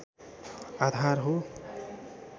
आधार हो